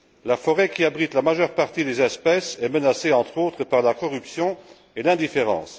La forêt qui abrite la majeure partie des espèces est menacée, entre autres, par la corruption et l'indifférence.